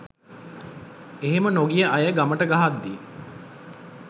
එහෙම නොගිය අය ගමට ගහද්දි